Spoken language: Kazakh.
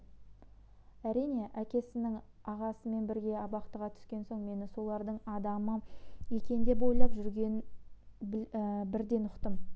әрине әкесінің ағасымен бірге абақтыға түскен соң мені солардың адамы екен деп ойлап жүргенін бірден ұқтым